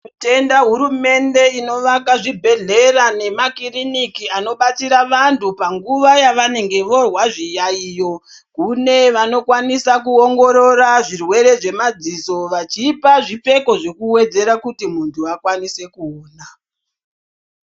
Tinotenda hurumende inovaka zvibhedhlera nemakiriniki anobatsira vantu panguva yavanenge voozwa zviyayiyo. Kune vanokwanisa kuongorora zvirwere zvemadziso vachipa zvipfeko zvekuwedzera kuti muntu akwanise kuona.